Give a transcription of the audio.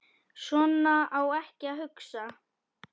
Svona á ekki að hugsa.